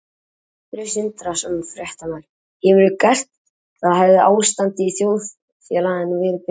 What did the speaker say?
Sindri Sindrason, fréttamaður: Hefðirðu gert það hefði ástandið í þjóðfélaginu verið betra?